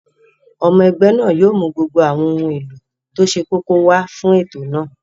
Ọmọ ẹgbẹ́ náà yóò mú gbogbo àwọn ohun èlò tó ṣe kókó wá fún ètò náà